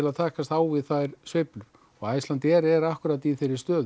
að takast á við þær sveiflur og Icelandair er akkúrat í þeirri stöðu